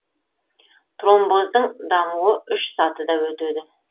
тромбоздың дамуы үш сатыда өтеді